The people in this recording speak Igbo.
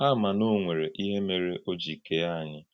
Hà mà na ọ̀ nwere íhè mèré ò jì kèé ànyí.